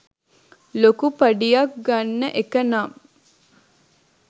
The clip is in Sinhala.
ලොකු පඩියක් ගන්න එක නම්